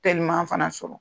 Telima fana sɔrɔ